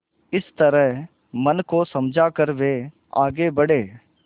इस तरह मन को समझा कर वे आगे बढ़े